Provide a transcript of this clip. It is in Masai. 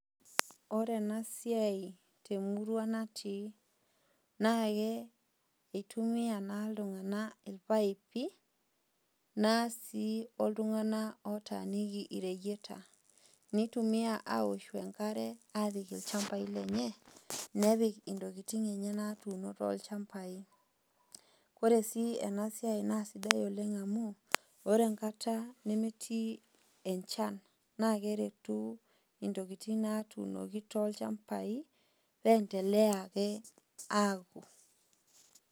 Ore enasiai temurua natii, nake itumia naa iltung'anak irpaipi, nasi oltung'anak otaaniki ireyieta, nitumia aoshu enkare, apik ilchambai lenye, nepik intokiting enye natuuno tolchambai. Ore si enasiai nasidai oleng amu, ore enkata nemetii enchan, nakeretu intokiting natuunoki tolchambai, pendelea ake aku.